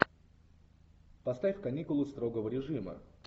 поставь каникулы строгого режима